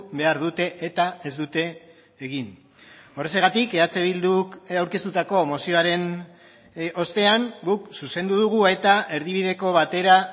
behar dute eta ez dute egin horrexegatik eh bilduk aurkeztutako mozioaren ostean guk zuzendu dugu eta erdibideko batera